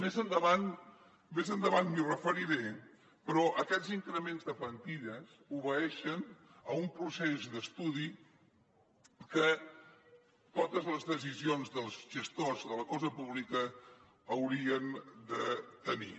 més endavant m’hi referiré però aquests increments de plantilles obeeixen a un procés d’estudi que totes les decisions dels gestors de la cosa pública haurien de tenir